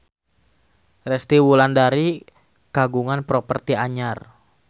Resty Wulandari kagungan properti anyar